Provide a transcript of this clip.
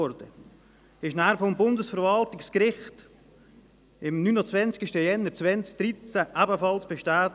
Dieser wurde danach am 29. Januar 2013 ebenfalls vom Bundesverwaltungsgericht bestätigt.